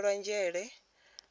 vha o thusa u bva